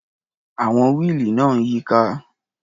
Àwọn wíìlì náà ń yíká.